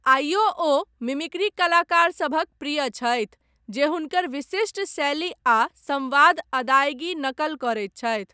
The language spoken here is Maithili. आइयो ओ मिमिक्री कलाकारसभक प्रिय छथि, जे हुनकर विशिष्ट शैली आ सम्वाद अदायगी नकल करैत छथि।